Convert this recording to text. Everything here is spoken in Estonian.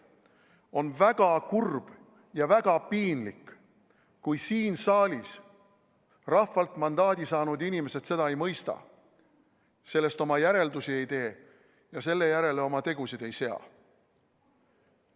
On väga kurb ja väga piinlik, kui siin saalis rahvalt mandaadi saanud inimesed seda ei mõista, sellest oma järeldusi ei tee ja selle järgi oma tegusid ei sea.